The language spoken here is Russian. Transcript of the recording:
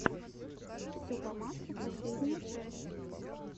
все по маслу последняя часть